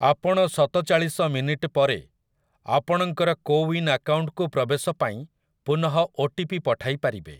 ଆପଣ ସତଚାଳିଶ ମିନିଟ୍ ପରେ ଆପଣଙ୍କର କୋୱିନ୍ ଆକାଉଣ୍ଟକୁ ପ୍ରବେଶ ପାଇଁ ପୁନଃ ଓଟିପି ପଠାଇ ପାରିବେ ।